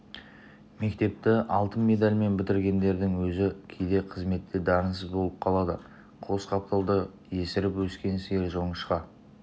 мектепті алтын медальмен бітіргендердің өзі кейде қызметте дарынсыз болып қалады қос қапталда есіріп өскен сиыр жоңышқа